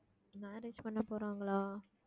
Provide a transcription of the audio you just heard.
marriage பண்ணப் போறாங்களா